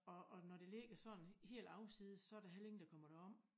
Og og når det ligger sådan helt afsides så der heller ingen der kommer derom